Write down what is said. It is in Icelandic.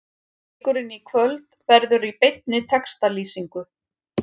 Leikurinn í kvöld verður í beinni textalýsingu.